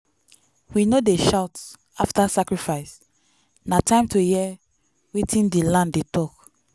we no dey shout after sacrifice na time to hear wetin di land dey talk.